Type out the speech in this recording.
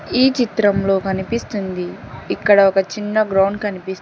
ఈ చిత్రంలో కనిపిస్తుంది ఇక్కడ ఒక చిన్న గ్రౌండ్ కనిపిస్--